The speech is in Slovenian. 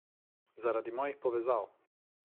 Zaradi mojih povezav.